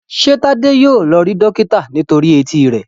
ṣe Tade yíò lọ rí dókítà nítorí Etí rẹ?